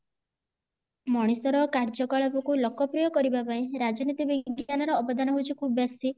ମଣିଷ ର କାର୍ଯ୍ୟକଳାପ କୁ ଲୋକପ୍ରିୟ କରିବା ପାଇଁ ରାଜନୀତି ବିଜ୍ଞାନ ର ଅବଦାନ ହେଉଚି ଖୁବ ବେଶୀ